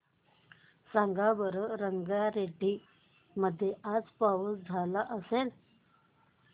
सांगा बरं रंगारेड्डी मध्ये आज पाऊस का झाला असेल